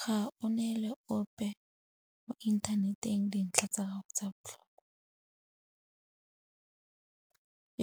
Ga o neele ope mo inthaneteng dintlha tsa gago tsa botlhokwa.